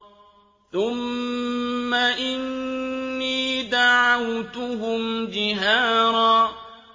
ثُمَّ إِنِّي دَعَوْتُهُمْ جِهَارًا